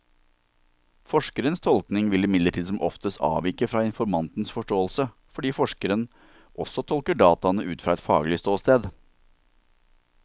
Forskerens tolkning vil imidlertid som oftest avvike fra informantens forståelse, fordi forskeren også tolker dataene ut fra et faglig ståsted.